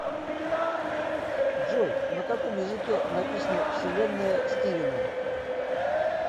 джой на каком языке написано вселенная стивена